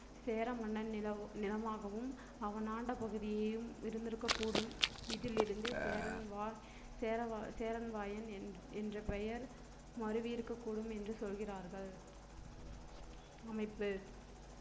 சேர மன்னன் நிலமாகவும் அவன் ஆண்ட பகுதியையும் இருந்திருக்கக்கூடும் இதிலிருந்து சேரன்வாய்~ சேரன்வாயன்~ சேர்வராயன் என்ற~ என்றப் பெயர் மருவியிருக்கக் கூடும் என்று சொல்கிறார்கள் அமைப்பு